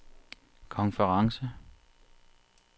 konference